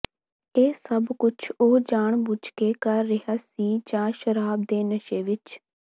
ਇਹ ਸਭ੍ਹ ਕੁਝ ਉਹ ਜਾਣ ਬੁੱਝ ਕੇ ਕਰ ਰਿਹਾ ਸੀ ਜਾਂ ਸ਼ਰਾਬ ਦੇ ਨਸ਼ੇ ਵਿੱਚ